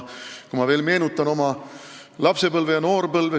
Ma veel kord meenutan oma lapsepõlve ja noorpõlve.